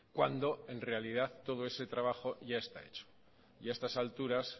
cuando en realidad todo ese trabajo ya está hecho y a estas alturas